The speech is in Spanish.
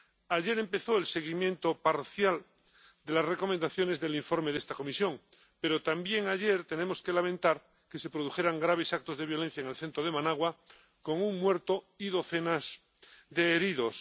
Ayer empezó el seguimiento parcial de las recomendaciones del informe de esta comisión, pero también ayer hubo que lamentar que se produjeran graves actos de violencia en el centro de Managua con un muerto y docenas de heridos.